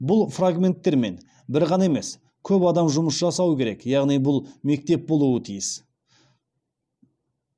бұл фрагменттермен бір ғана емес көп адам жұмыс жасауы керек яғни бұл мектеп болуы тиіс